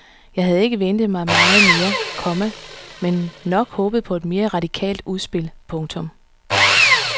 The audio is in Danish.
Jeg havde ikke ventet mig meget mere, komma men nok håbet på et mere radikalt udspil. punktum